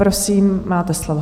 Prosím, máte slovo.